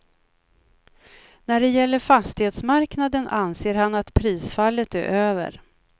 När det gäller fastighetsmarknaden anser han att prisfallet är över.